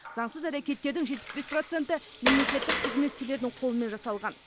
заңсыз әрекеттердің жетпіс бес проценті мемлекеттік қызметкерлердің қолымен жасалған